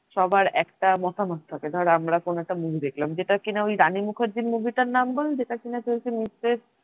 সবার একটা মতামত থাকে ধর আমরা কোন একটা movie দেখলাম যেটা কিনা ওই রানী মুখার্জীর movie টার নাম বল? যেটা কিনা চলছে মিস্ট্রেস